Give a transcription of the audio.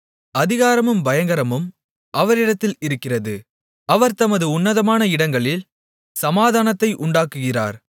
அதிகாரமும் பயங்கரமும் அவரிடத்தில் இருக்கிறது அவர் தமது உன்னதமான இடங்களில் சமாதானத்தை உண்டாக்குகிறார்